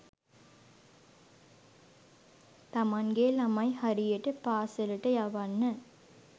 තමන්ගෙ ළමයි හරියට පාසලට යවන්න